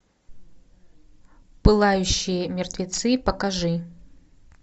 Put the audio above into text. пылающие мертвецы покажи